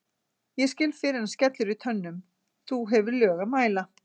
ég skil fyrr en skellur í tönnum þú hefur lög að mæla